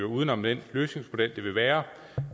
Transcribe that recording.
uden om den løsningsmodel det ville være